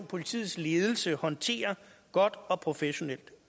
politiets ledelse håndterer godt og professionelt